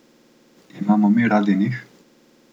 Imamo mi radi njih?